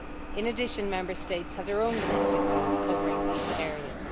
In addition, Member States have their own domestic laws covering these areas.